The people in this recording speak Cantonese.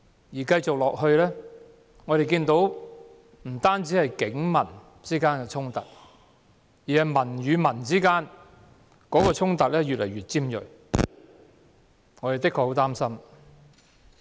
情況持續下去的話，不止警民衝突，連市民與市民之間的衝突亦會越來越尖銳。